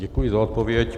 Děkuji za odpověď.